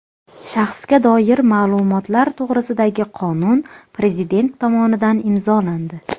Shaxsga doir ma’lumotlar to‘g‘risidagi qonun Prezident tomonidan imzolandi.